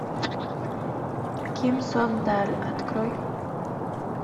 ким сон даль открой